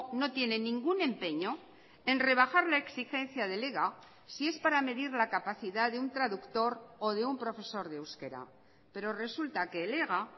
no tiene ningún empeño en rebajar la exigencia del ega si es para medir la capacidad de un traductor o de un profesor de euskera pero resulta que el ega